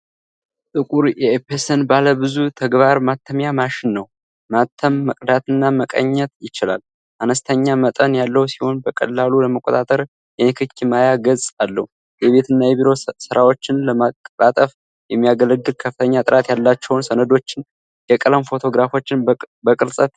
ጥቁር የኤፕሰን ባለብዙ ተግባር ማተሚያ ማሽን ነው። ማተም፣ መቅዳትና መቃኘት ይችላል። አነስተኛ መጠን ያለው ሲሆን፣ በቀላሉ ለመቆጣጠር የንክኪ ማያ ገጽ አለው። የቤትና የቢሮ ሥራዎችን ለማቀላጠፍ የሚያገለግል፣ ከፍተኛ ጥራት ያላቸውን ሰነዶችና የቀለም ፎቶግራፎችን በቅጽበት ያወጣል።